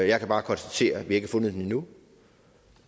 jeg kan bare konstatere at vi ikke har fundet den endnu